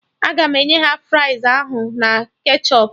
Aga m enye ha fries ahụ na ketchọp